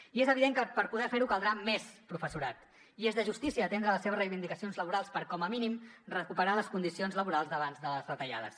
i és evident que per poder ferho caldrà més professorat i és de justícia atendre les seves reivindicacions laborals per com a mínim recuperar les condicions laborals d’abans de les retallades